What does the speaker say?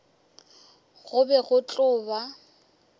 go be go tlo ba